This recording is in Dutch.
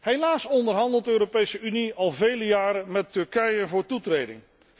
Helaas onderhandelt de Europese Unie al vele jaren met Turkije over toetreding.